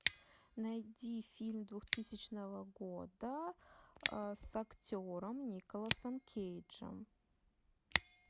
найди фильм двухтысячного года с актером николасом кейджем